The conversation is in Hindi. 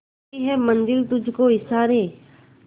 करती है मंजिल तुझ को इशारे